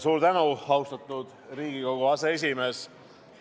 Suur tänu, austatud Riigikogu aseesimees!